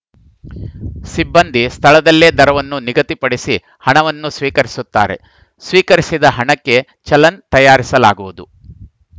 ಸಿಬ್ಬಂದಿ ಸ್ಥಳದಲ್ಲೇ ದರವನ್ನು ನಿಗದಿಪಡಿಸಿ ಹಣವನ್ನು ಸ್ವೀಕರಿಸುತ್ತಾರೆ ಸ್ವೀಕರಿಸಿದ ಹಣಕ್ಕೆ ಚಲನ್‌ ತಯಾರಿಸಲಾಗುವುದು